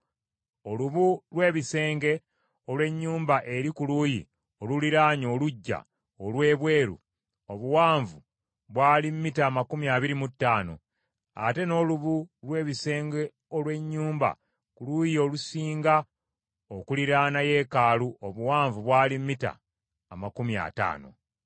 Olubu lw’ebisenge olw’ennyumba eri ku luuyi oluliraanye oluggya olw’ebweru obuwanvu bwali mita amakumi abiri mu ttaano, ate n’olubu lw’ebisenge olw’ennyumba ku luuyi olusinga okuliraana yeekaalu obuwanvu bwali mita amakumi ataano.